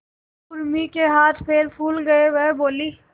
उर्मी के हाथ पैर फूल गए वह बोली